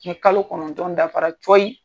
Ni kalo kɔnɔntɔn dafara cɔyi